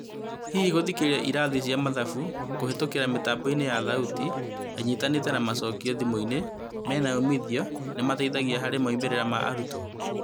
Hihi gũthikĩrĩria ĩrathi cia mathabu kũhetũkĩra mĩtambo ya thauti ĩnyitanĩte na macokĩo thimũinĩ menaumithio nĩmateithagia harĩ moimĩrĩra ma arutwo?